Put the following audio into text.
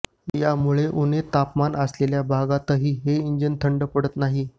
यामुळे उणे तापमान असलेल्या भागातही हे इंजिन थंड पडत नाही